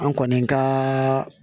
An kɔni ka